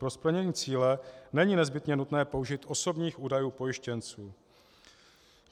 Pro splnění cíle není nezbytně nutné použít osobních údajů pojištěnců.